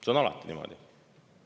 See on alati niimoodi.